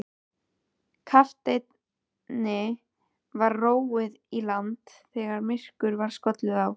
Kafteini var róið í land þegar myrkur var skollið á.